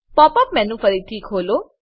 pop up menu ફરીથી ખોલો